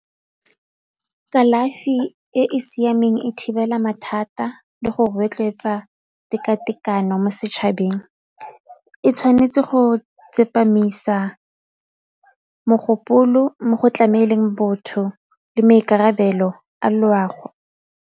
Kalafi e e siameng e thibela mathata le go rotloetsa teka-tekano mo setšhabeng e tshwanetse go tsepamisa mogopolo mo go tlameleng botho le maikarabelo a loago.